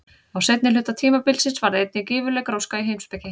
Á seinni hluta tímabilsins varð einnig gífurleg gróska í heimspeki.